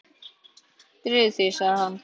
Drífðu þig, sagði hann.